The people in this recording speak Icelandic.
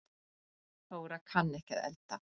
Þóra kann ekki að elda